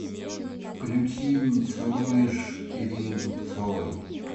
включи не целуешь ирины дубцовой